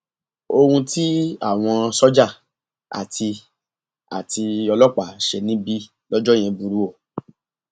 ohun tí àwọn sójà àti àti ọlọpàá ṣe níbí lọjọ yẹn burú o